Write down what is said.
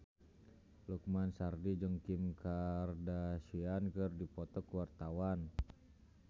Lukman Sardi jeung Kim Kardashian keur dipoto ku wartawan